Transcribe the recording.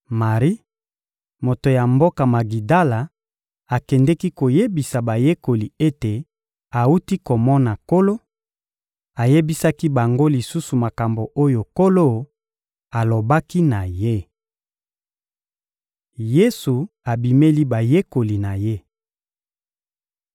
Mari, moto ya mboka Magidala, akendeki koyebisa bayekoli ete awuti komona Nkolo; ayebisaki bango lisusu makambo oyo Nkolo alobaki na ye. Yesu abimeli bayekoli na Ye (Lk 24.36-43; Mlk 16.14-18)